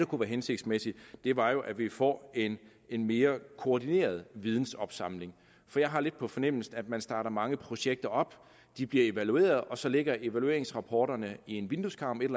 kunne være hensigtsmæssigt var jo at vi får en mere koordineret vidensopsamling jeg har lidt på fornemmelsen at man starter mange projekter op de bliver evalueret og så ligger evalueringsrapporterne i en vindueskarm et